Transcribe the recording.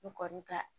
N kɔni ka